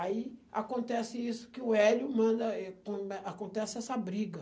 Aí acontece isso, que o Hélio manda... Acontece essa briga.